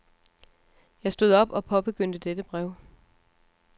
Jeg stod op og påbegyndte dette brev.